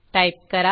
type करा